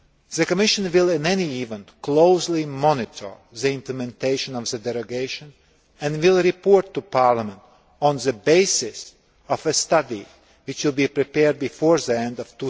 The Commission will, in any event, closely monitor the implementation of the derogation and will report to Parliament on the basis of a study which will be prepared before the end